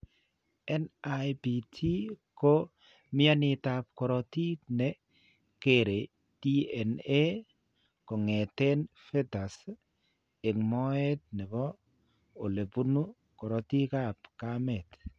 NIPT ko mtyaaniitap korotiik ne kere DNA kong'eten fetus eng' moet ne po ole bune karotiikap kameet.